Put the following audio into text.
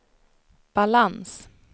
balans